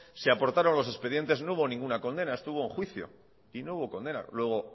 se aportaron los expedientes no hubo ninguna condena estuvo en juicio y no hubo condena luego